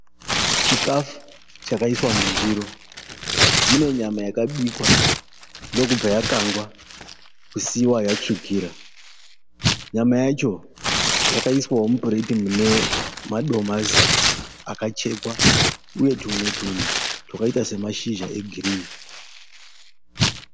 Chikafu chakaiswa mundiro, mune nyama yakabikwa ndokubva yakangwa kusiiwa yatsvukira, nyama yacho yakaiswawo mupureti mune madomasi akachekwa uye tumwe tunhu twakaita semashizha egirini.